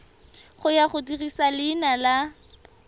ya go dirisa leina la